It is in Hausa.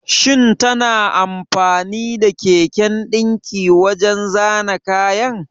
Shin tana amfani da keken dinki wajen zana kayan?